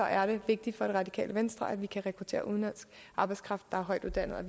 er det vigtigt for radikale venstre at vi kan rekruttere udenlandsk arbejdskraft der er højtuddannet